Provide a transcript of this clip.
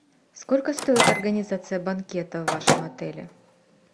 сколько стоит организация банкета в вашем отеле